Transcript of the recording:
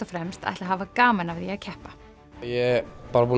fremst ætla að hafa gaman af því að keppa ég